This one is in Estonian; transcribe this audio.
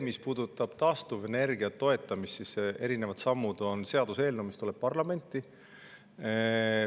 Mis puudutab taastuvenergia toetamist, siis erinevate sammude on seaduseelnõu, mis tuleb parlamenti.